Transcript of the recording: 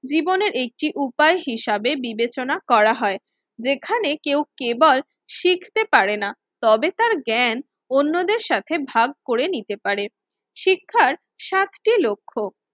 জীবনের একটি উপায় হিসেবে বিবেচনা করা হয়। যেখানে কেউ কেবল শিখতে পারেনা, তবে তার জ্ঞান অন্যদের সাথে ভাগ করে নিতে পারে। শিক্ষার সাতটি লক্ষ্য,